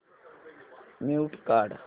mute काढ